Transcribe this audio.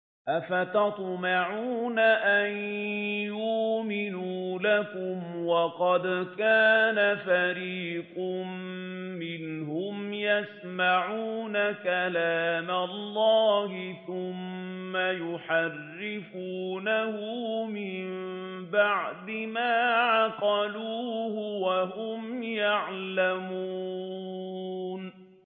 ۞ أَفَتَطْمَعُونَ أَن يُؤْمِنُوا لَكُمْ وَقَدْ كَانَ فَرِيقٌ مِّنْهُمْ يَسْمَعُونَ كَلَامَ اللَّهِ ثُمَّ يُحَرِّفُونَهُ مِن بَعْدِ مَا عَقَلُوهُ وَهُمْ يَعْلَمُونَ